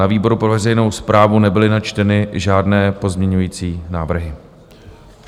Na výboru pro veřejnou správu nebyly načteny žádné pozměňovací návrhy.